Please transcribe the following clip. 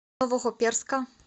новохоперска